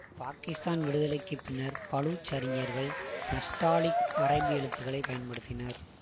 பாகிஸ்தான் விடுதலைக்கு பின்னர் பலூச் அறிஞர்கள் நஸ்டாலிக் அரபி எழுத்துக்களை பயன்படுத்தினர்